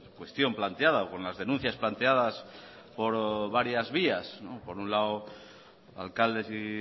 cuestión planteada o con las denuncias planteadas por varias vías por un lado alcaldes y